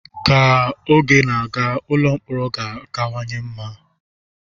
Ka oge na-aga, ụlọ mkpọrọ ga-akawanye mma.